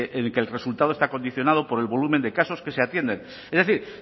en que el resultado está condicionado por el volumen de casos que se atienden es decir